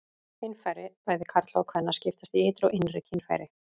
Kynfæri bæði karla og kvenna skiptast í ytri og innri kynfæri.